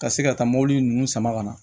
Ka se ka taa mobili ninnu sama ka na